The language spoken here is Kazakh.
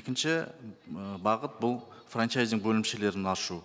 екінші ы бағыт бұл франчайзинг бөлімшелерін ашу